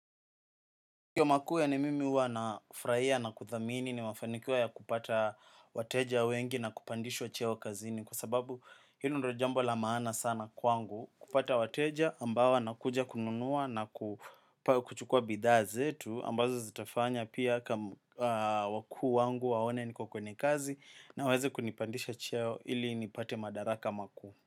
Kwa makuwe ni mimi huwa na furaia na kuthamini nimefanikiwa ya kupata wateja wengi na kupandishwa cheo kazini kwa sababu hilo ndo jambo la maana sana kwangu kupata wateja ambao wanakuja kununua na kuchukua bidhaa zetu ambazo zitafanya pia wakuu wangu waone niko kwenye kazi na waeze kunipandisha cheo ili nipate madaraka makuu.